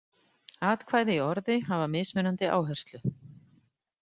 Atkvæði í orði hafa mismunandi áherslu.